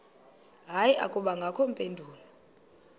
hayi akubangakho mpendulo